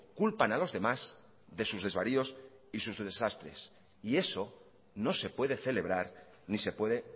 culpan a los demás de sus desvaríos y sus desastres y eso no se puede celebrar ni se puede